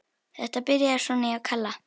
Þetta byrjaði svona hjá Kalla.